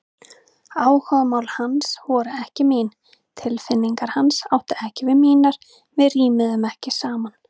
Áhugamál hans voru ekki mín, tilfinningar hans áttu ekki við mínar, við rímuðum ekki saman.